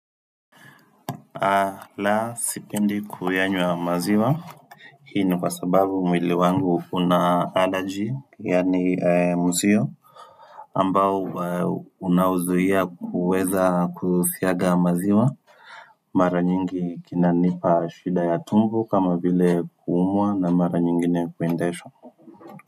Ala sipendi kuyanywa maziwa hii ni kwa sababu mwili wangu una allergy yani musio ambao unaozuia kuweza kusiaga maziwa mara nyingi kinanipa shida ya tumbo kama vile kuumwa na mara nyingine kuendesha.